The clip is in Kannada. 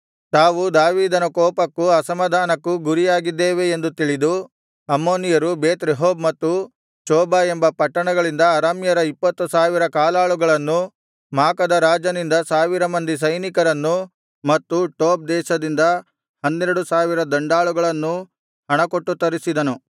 ತಾವು ದಾವೀದನ ಕೋಪಕ್ಕೂ ಅಸಮಾಧಾನಕ್ಕೂ ಗುರಿಯಾಗಿದ್ದೇವೆ ಎಂದು ತಿಳಿದು ಅಮ್ಮೋನಿಯರು ಬೇತ್ ರೆಹೋಬ್ ಮತ್ತು ಚೋಬಾ ಎಂಬ ಪಟ್ಟಣಗಳಿಂದ ಅರಾಮ್ಯರ ಇಪ್ಪತ್ತು ಸಾವಿರ ಕಾಲಾಳುಗಳನ್ನೂ ಮಾಕದ ರಾಜನಿಂದ ಸಾವಿರ ಮಂದಿ ಸೈನಿಕರನ್ನೂ ಮತ್ತು ಟೋಬ್ ದೇಶದಿಂದ ಹನ್ನೆರಡು ಸಾವಿರ ದಂಡಾಳುಗಳನ್ನೂ ಹಣಕೊಟ್ಟು ತರಿಸಿದನು